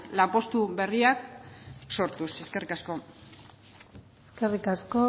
lanpostu berriak sortuz eskerrik asko eskerrik asko